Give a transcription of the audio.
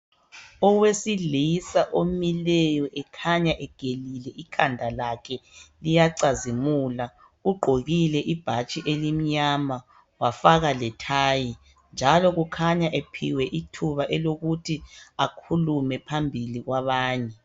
Owesilisa omileyo ekhanya egelile ikhanda lakhe, liyacazimula. Ugqokile ibhatshi elimnyama wafaka lethayi. Njalo kukhanya ephiwe ithuba elokuthi akhulume phambili kwabanye .